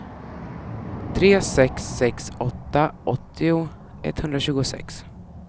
tre sex sex åtta åttio etthundratjugosex